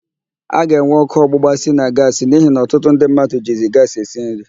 A ga-enwe ọkụ ọgbụgba si na gaasị n'ihi na ọtụtụ ndị mmadụ jizi gaasị esi nri.